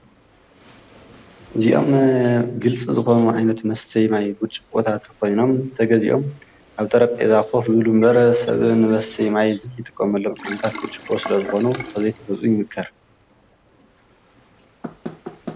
እዚኦም ግልጽ ዝኾኑ ዓይነት መስተይ ማይ ብጭ ኽታ ተኾይኖም ተገዚኦም ኣብ ጠረብ ዒዛ ኾፍ ዩሉ እምበር ሰእ ንበሰይ ማይ ዘይ ተቖመሎም ኃይነታኽ ብሚ ስለ ዝኾኑ ተዘይተበፁ ይምክር።